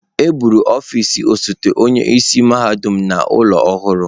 E bugara ọfịs osote onye isi mahadum n'ụlọ ọhụrụ.